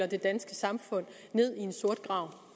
det danske samfund ned i en sort grav